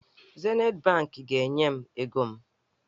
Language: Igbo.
Zenit bankị ga-enye m ego m.